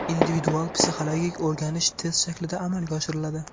Individual-psixologik o‘rganish test shaklida amalga oshiriladi.